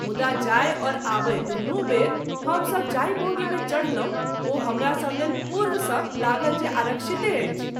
मुदा जाय और आबय दुनू बेर हम सभ जाहि बोगी मे चढलहुँ ओ हमरा सभ लेल पूर्व सँ लागल जे आऱक्षिते अछि।